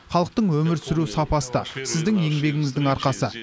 халықтың өмір сүру сапасы да сіздің еңбегіңіздің арқасы